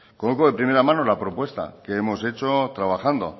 conozco de primera de mano la propuesta que hemos hecho trabajando